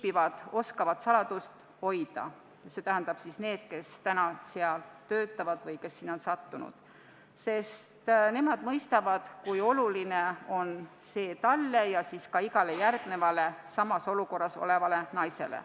Varjupaikades viibijad, st need, kes seal praegu töötavad või kes sinna on sattunud, oskavad saladust hoida, sest nemad mõistavad, kui oluline on see neile ja igale järgmisele samas olukorras olevale naisele.